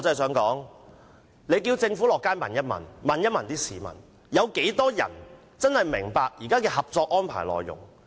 請政府到街上問問，有多少市民真的明白現時《合作安排》的內容？